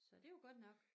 Så det jo godt nok